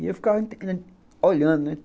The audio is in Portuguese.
E eu ficava olhando, né.